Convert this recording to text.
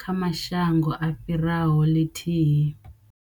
kha mashango a fhiraho ḽithihi.